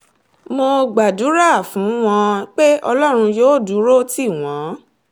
mo gbàdúrà fún wọn pé ọlọ́run yóò dúró tì wọ́n